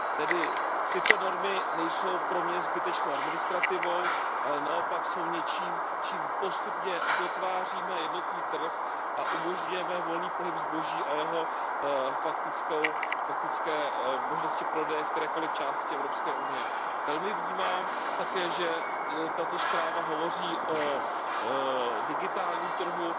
Tedy tyto normy nejsou pro mě zbytečnou administrativou, ale naopak jsou něčím, čím postupně dotváříme jednotný trh a umožňujeme volný pohyb zboží a jeho faktické možnosti prodeje v kterékoliv části Evropské unie. Velmi vnímám také, že tato zpráva hovoří o digitálním trhu.